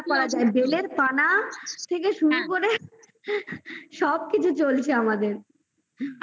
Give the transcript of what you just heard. পানা থেকে শুরু করে সব কিছু চলছে আমাদের